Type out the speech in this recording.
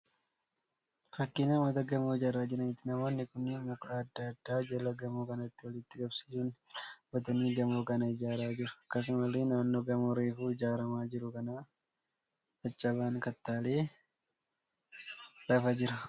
Fakkii namoota gamoo ijaaraa jiraniiti. Namoonni kunniin muka adda addaa jala gamoo kanaatti walitti qabsiisuun irra dhaabbatanii gamoo kana ijaaraa jiru. Akkasumallee naannoo gamoo reefu ijaaramaa jiru kana caccabaan kattaalee lafa jira.